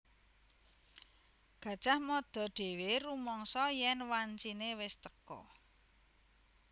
Gajah Mada dhéwé rumangsa yèn wanciné wis teka